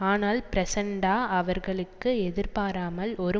ஆனால் பிரச்சண்டா அவர்களுக்கு எதிர்பாராமல் ஒரு